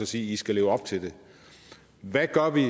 sige i skal leve op til det hvad gør vi